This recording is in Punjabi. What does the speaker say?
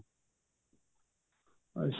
ਅੱਛਾ